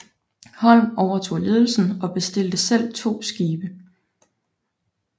Holm overtog ledelsen og bestilte selv to skibe